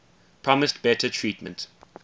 promised better treatment